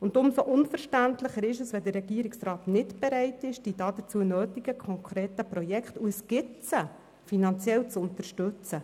Umso unverständlicher ist es, wenn der Regierungsrat nicht bereit ist, die dazu nötigen konkreten Projekte, die es ja gibt, finanziell zu unterstützen.